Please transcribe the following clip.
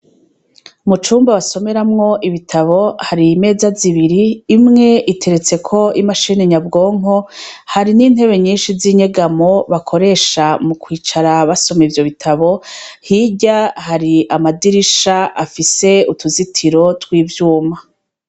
Mu cumba basomeramwo ibitabo hari imeza zibiri imwe iteretseko imashine nyabwonko hari n'intebe nyinshi zinyegamo bakoresha mu kwicara basoma ivyo bitabo hirya hari amadirisha afise utuzitiro twivyuma.